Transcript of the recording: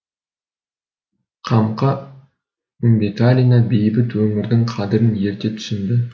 қамқа үмбеталина бейбіт өмірдің қадірін ерте түсінді